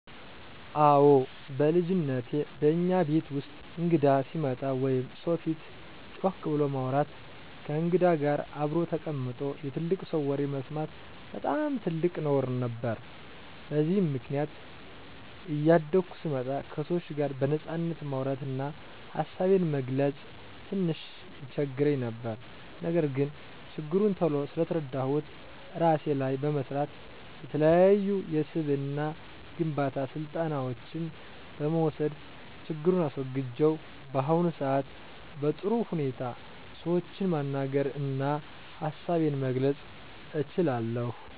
አወ በልጅነቴ በእኛ ቤት ውስጥ እንግዳ ሲመጣ ወይም ሰው ፊት ጮክ ብሎ ማውራት፣ ከእንግዳ ጋር አብሮ ተቀምጦ የትልቅ ሰው ወሬ መስማት በጣም ትልቅ ነውር ነበር። በዚህም ምክንያት እያደኩ ስመጣ ከሰዎች ጋር በነጻነት ማውራት እና ሀሳቤን መግለፅ ትንሽ ይቸግረኝ ነበር። ነገር ግን ችግሩን ቶሎ ስለተረዳሁት እራሴ ላይ በመስራት፣ የተለያዩ የስብዕና ግንባታ ስልጠናዎችን በመውሰድ ችግሩን አስወግጀው በአሁኑ ሰአት በጥሩ ሁኔታ ሰዎችን ማናገር እና ሀሳቤን መግለፅ እችላለሁ።